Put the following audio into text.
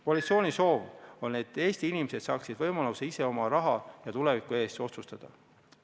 Koalitsiooni soov on, et Eesti inimesed saaksid võimaluse ise oma raha ja tuleviku üle otsustada.